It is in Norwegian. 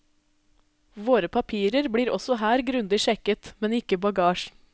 Våre papirer blir også her grundig sjekket, men ikke bagasjen.